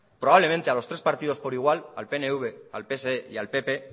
probablemente a los tres partido por igual al pnv al pse y al pp